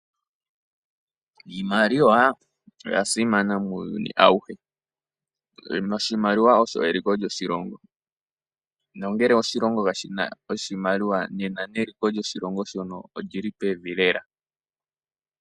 Iimaliwa oya simana muuyuni awuhe. Eeno, oshimaliwa olyo eliko lyoshilongo nongele oshilongo kashi na oshimaliwa nena neliko lyoshilongo shono olyili pevi lela.